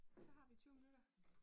Så har vi 20 minutter